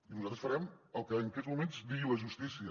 i nosaltres farem el que en aquests moments digui la justícia